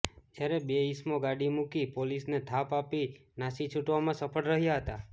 જ્યારે બે ઇસમો ગાડી મૂકી પોલીસને થાપ આપી નાસી છૂટવામાં સફળ રહ્યા હતા